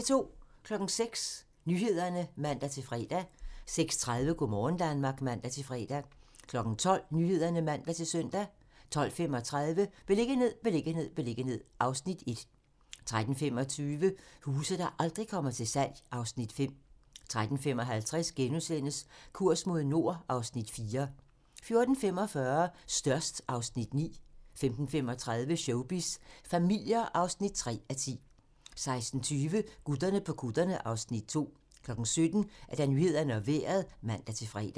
06:00: Nyhederne (man-fre) 06:30: Go' morgen Danmark (man-fre) 12:00: Nyhederne (man-søn) 12:35: Beliggenhed, beliggenhed, beliggenhed (Afs. 1) 13:25: Huse, der aldrig kommer til salg (Afs. 5) 13:55: Kurs mod nord (Afs. 4)* 14:45: Størst (Afs. 9) 15:35: Showbiz familier (3:10) 16:20: Gutterne på kutterne (Afs. 2) 17:00: Nyhederne og Vejret (man-fre)